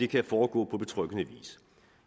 kan foregå på betryggende vis